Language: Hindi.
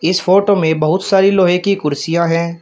इस फोटो में बहुत सारी लोहे की कुर्सियां हैं।